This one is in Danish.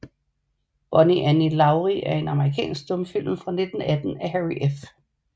Bonnie Annie Laurie er en amerikansk stumfilm fra 1918 af Harry F